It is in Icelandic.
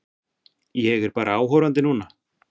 Ég er bara áhorfandi núna.